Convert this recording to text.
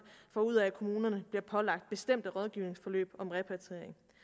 får ud af at kommunerne bliver pålagt bestemte rådgivningsforløb om repatriering